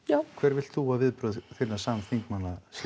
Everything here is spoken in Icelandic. hver vilt þú að viðbrögð þinna samþingmanna séu